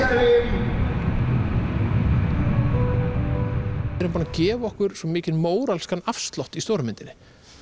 við erum búin að gefa okkur svo mikinn móralskan afslátt í stóru myndinni